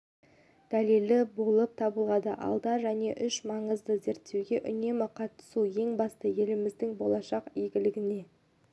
дәлелі болып табылады алда және үш маңызды зерттеуге үнемі қатысу ең бастысы елдің болашақ игілігіне